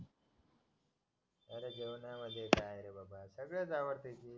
मला जेवणामध्ये सगळंच आवडत